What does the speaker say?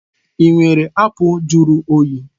Ị nwere apụl juru oyi?